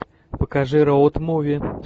покажи роуд муви